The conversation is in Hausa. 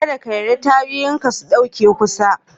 Ka ɗa ka yarda tayoyin ka su ɗauki kusa.